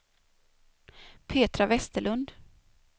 Petra Vesterlund